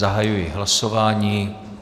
Zahajuji hlasování.